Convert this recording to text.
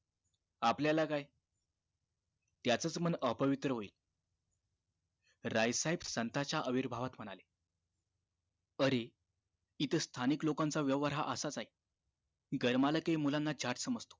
आपल्याला काय त्याचच मन अपवित्र होईल राय साहेब संताच्या आविर्भावात म्हणाले अरे इथ स्थानिक लोकांचा व्यवहार हा असाच आहे. घर मालकही मुलांना झाट समजतो.